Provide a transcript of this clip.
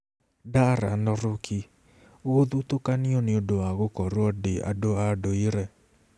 Darlan Rukih: Gũthutũkanio nĩ ũndũ wa gũkorũo ndĩ andũ a ndũire